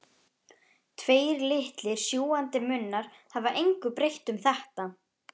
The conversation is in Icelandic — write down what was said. Tveir litlir sjúgandi munnar hafa engu breytt um þetta.